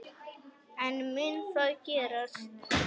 En mun það gerast?